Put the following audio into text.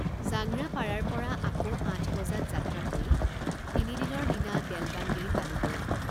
জাংৰা পাৰাৰপৰা আকৌ আঠ বজাত যাত্ৰা কৰি তিনদিনৰ দিনা দেলবাংগিৰি পালোঁগৈ।